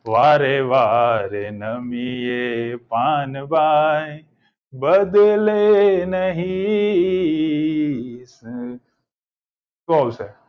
વારે વારે નમીએ તે પાનવાઈ બદલે નહ શું આવશે